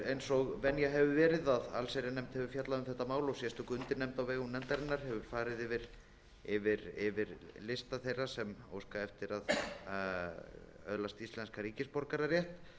eins og venja hefur verið að allsherjarnefnd hefur fjallað um þetta mál og sérstök undirnefnd á vegum nefndarinnar hefur farið yfir lista þeirra sem óska eftir að öðlast íslenskan ríkisborgararétt